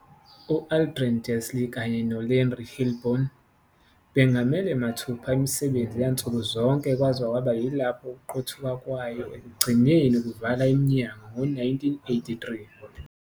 U-Adrian Dalsey kanye no- Larry Hillblom bengamele mathupha imisebenzi yansuku zonke kwaze kwaba yilapho ukuqothuka kwayo ekugcineni kuvala iminyango ngo-1983.